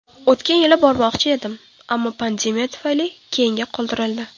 O‘tgan yili bormoqchi edim, ammo pandemiya tufayli keyinga qoldirildi.